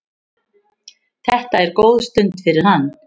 Þetta er góð stund fyrir hann.